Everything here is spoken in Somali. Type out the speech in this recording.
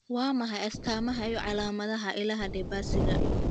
Waa maxay astamaha iyo calaamadaha cilada De Barsyga?